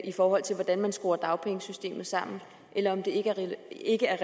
i forhold til hvordan man skruer dagpengesystemet sammen eller om det ikke er